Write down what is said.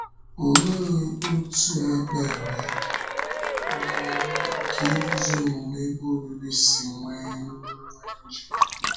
Òlee otú èkpèrè na ọ́rụ nke idúzi ọmụmụ Ebe Obibi si nwee nwee njikọ?